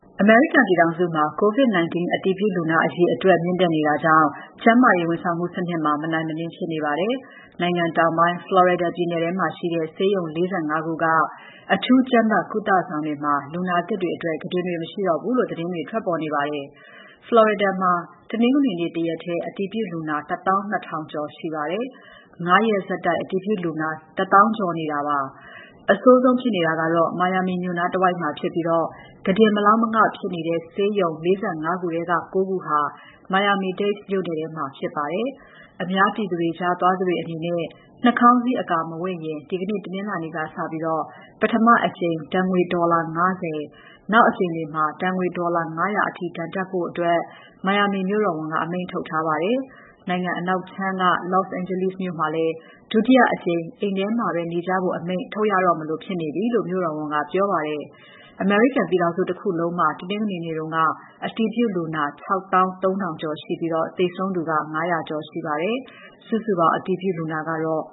အမေရိကန်ပြည်ထောင်စုမှာ COVID-19 အတည်ပြုလူနာ အရေအတွက် မြင့်တက်နေတာကြောင့် ကျန်းမာရေးဝန်ဆောင်မှုစနစ်မှာ မနိုင်မနင်းဖြစ်နေပါတယ်။ နိုင်ငံတောင်ပိုင်း Florida ပြည်နယ်ထဲမှာရှိတဲ့ ဆေးရုံ ၄၅ ခုက အထူးကြပ်မတ် ကုသဆောင်တွေမှာ လူနာသစ်အတွက် ကုတင်တွေ မရှိတော့ဘူးလို့ သတင်းတွေ ထွက်ပေါ်နေပါတယ်။ Florida မှာ တနင်္ဂနွေနေ့ တရက်ထဲ အတည်ပြုလူနာ ၁၂,၀၀၀ ကျော်ပါတယ်။ ၅ ရက်ဆက်တိုက် အတည်ပြုလူနာ ၁၀,၀၀၀ ကျော်ရှိနေတာပါ။ အဆိုးဆုံးဖြစ်နေတာကတော့ Miami မြို့နားတဝိုက်မှာဖြစ်ပြီး၊ လူနာကုတင်မလောက် မငဖြစ်နေတဲ့ ဆေးရုံ ၄၅ ခုထဲက ၉ ခုဟာ Miami-Dade မြို့နယ်ထဲမှာဖြစ်ပါတယ်။ အများပြည်သူကြားသွားသူတွေ နှာခေါင်းစည်းအကာ မဝတ်ရင် ဒီနေ့ တနင်္လာနေ့ကစပြီး ပထမအကြိမ် ဒဏ်ငွေ ဒေါ်လာ ၅၀၊ နောက်အကြိမ်တွေမှာ ဒဏ်ငွေ ဒေါ်လာ ၅၀၀ အထိ ဒဏ်တပ်ဖို့ Miami မြို့တော်ဝန်က အမိန့်ထုတ်ထားပါတယ်။ နိုင်ငံအနောက်ခြမ်းက Los Angeles မြို့မှာလည်း ဒုတိယအကြိမ် အိမ်ထဲမှာပဲနေကြဖို့ အမိန့်ထုတ်ရတော့မလိုဖြစ်နေပြီလို့ မြို့တော်ဝန်ကပြောပါတယ်။ အမေရိကန်ပြည်ထောင်စုတခုလုံးမှာ တနင်္ဂနွေနေ့က အတည်ပြုလူနာ ၆၃,၀၀၀ ရှိပြီး သေဆုံးသူ ၅၀၀ ကျော်ပါတယ်။ စုစုပေါင်း အတည်ပြုလူနာကတော့